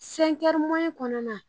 kɔnɔna na.